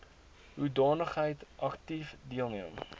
hoedanigheid aktief deelneem